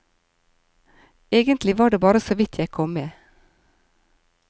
Egentlig var det bare såvidt jeg kom med.